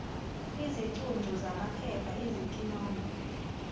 izicuncu zamaphepha izikinombo